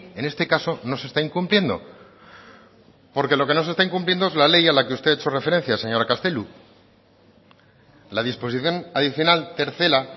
en este caso no se está incumpliendo porque lo que no se está incumpliendo es la ley a la que usted ha hecho referencia señora castelo la disposición adicional tercera